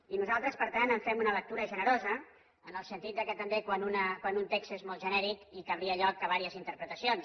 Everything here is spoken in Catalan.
i nosaltres per tant en fem una lectura generosa en el sentit que també quan un text és molt genèric donaria lloc a diverses interpretacions